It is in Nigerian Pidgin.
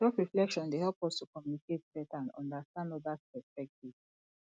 selfreflection dey help us to communicate beta and understand odas perspectives